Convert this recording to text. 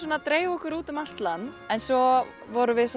dreifa okkur út um allt land en svo vorum við